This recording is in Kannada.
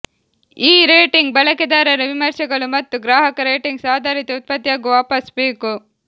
ಈ ರೇಟಿಂಗ್ ಬಳಕೆದಾರರ ವಿಮರ್ಶೆಗಳು ಮತ್ತು ಗ್ರಾಹಕ ರೇಟಿಂಗ್ಸ್ ಆಧಾರಿತ ಉತ್ಪತ್ತಿಯಾಗುವ ವಾಪಾಸು ಬೇಕು